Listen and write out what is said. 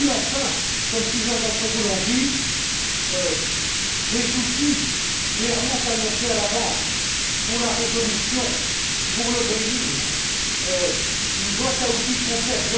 Puis, enfin, comme plusieurs d'entre vous l'ont dit, des outils clairement annoncés à l'avance pour la résolution, pour le bail in une boîte à outils complète.